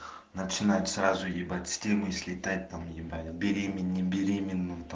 начинать сразу ебать с темы слетать там ебать беременные не беременные